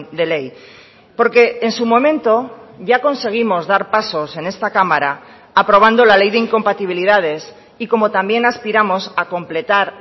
de ley porque en su momento ya conseguimos dar pasos en esta cámara aprobando la ley de incompatibilidades y como también aspiramos a completar